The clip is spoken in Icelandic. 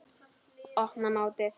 Opna mótið.